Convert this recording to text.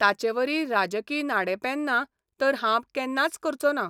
ताचेवरी राजकी नाडेपेन्नां तर हांव केन्नाच करचों ना.